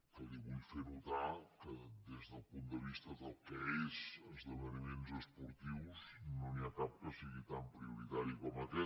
que li vull fer notar que des del punt de vista del que són esdeveniments esportius no n’hi ha cap que sigui tan prioritari com aquest